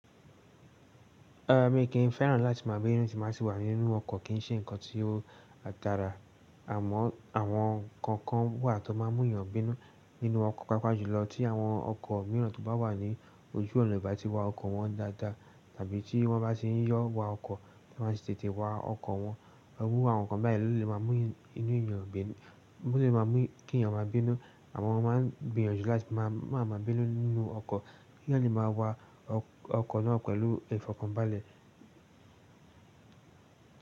Rárá mi kì n fẹ́ràn láti máa gbé èèyàn tín bá wà nínú ọkọ̀ kì ń ṣe ǹkan tí ó dára. Àmọ́ àwọn ǹkan kan wà tó máa ń mú èèyàn gbé èèyàn nínú ọkọ̀. Pàpàjùlọ tí àwọn ọkọ̀ mìíràn tó bá wọ̀ ní ojú ọ̀nà ì bá ti wa ọkọ̀ wọn dáadáa tàbí tí wọ́n bá ti ń yọ wa ọkọ̀ tí wọ́n bá ti tètè wa ọkọ̀, irú àwọn nkan báyìí ló lè má mú kí èèyàn má bínú àmọ́ mo máa ń gbìyànjú láti máa ma bínú nínú ọkọ̀ kí èèyàn lè máa wa ọkọ̀ náà pẹ̀lú ẹ̀fọ́ kan bálẹ̀.